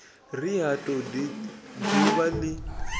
ri ha todi dzuvha li